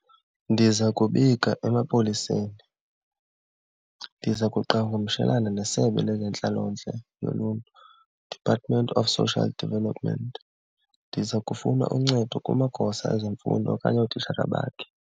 Ndiza kubika emapoliseni. Ndiza kuqhakamshelena nesebe lezentlalontle yoluntu, Department of Social Development. Ndiza kufuna uncedo kumagosa ezemfundo okanye ootitshala bakhe.